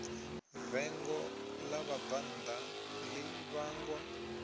vengo ḽa vhabvannḓa ḽi vhangwa